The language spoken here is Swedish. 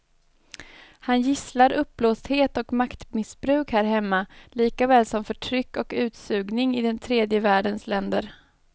Han gisslar uppblåsthet och maktmissbruk här hemma likaväl som förtryck och utsugning i den tredje världens länder.